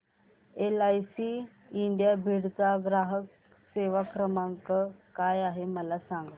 LIC India Beed चा ग्राहक सेवा क्रमांक काय आहे मला सांग